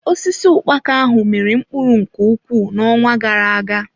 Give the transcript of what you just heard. Osisi ukpaka ahụ miri mkpụrụ nke ukwuu n'ọnwa gara-aga.